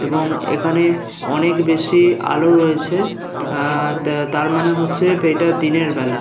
এবং এখানে অনেক বেশি আলো রয়েছে আ তা তার মানে হচ্ছে এইটা দিনের বেলা।